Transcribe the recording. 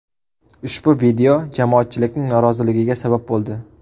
Ushbu video jamoatchilikning noroziligiga sabab bo‘ldi.